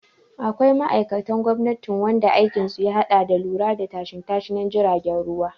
Akwai ma'aikatan gwamnati wanda aikin su ya haɗa da lura da tashashen jiragen ruwa